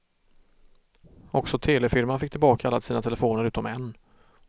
Också telefirman fick tillbaka alla sina telefoner utom en.